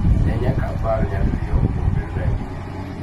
Ne nyaka apar nyadiriyo kuom bedona e mbui .